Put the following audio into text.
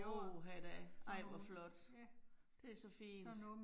Åh ha da, ej hvor flot. Det så fint